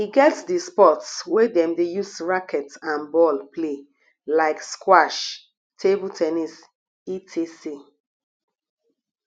e get di sports wey dem de use racket and ball play like squash table ten nis etc